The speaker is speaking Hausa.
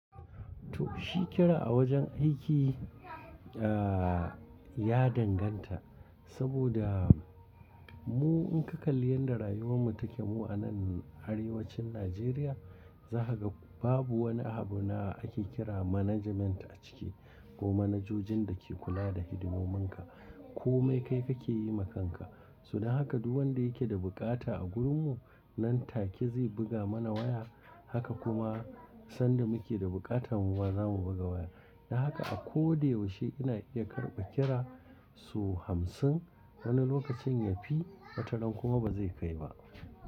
To shi kira a wajen aiki ah! Ya danganta saboda mu in ka kalli yadda rayuwar mu take mu a nan arewacin Najeriya za ka ga babu wani abu na ake kira management a ciki ko manajojin da ke kula da hidimomin ka ko mai kai ka ke yi ma kan ka. Suna haka duk wanda yake da bukata a gurin mu nan take zai buga mana waya haka kuma sanda muke da buƙatan mu ba za mu buga waya. Don haka a ko da yaushe ina iya karɓa kira sau hamsin wani lokacin ya fi wataran kuma ba zai kai ba.